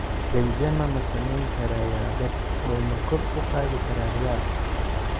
Benzema ma samayn karaa yaabab oo ma kor u qaadi karaa Real?